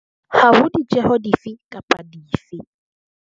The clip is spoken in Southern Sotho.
Ha ho ditjeho di fe kapa dife.